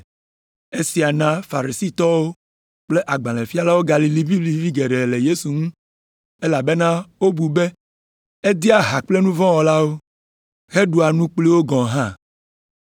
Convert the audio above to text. Esia na Farisitɔwo kple agbalẽfialawo galĩ liʋĩliʋĩ geɖe le Yesu ŋu, elabena wobu be edea ha kple nu vɔ̃ wɔlawo, heɖua nu kpli wo gɔ̃ hã.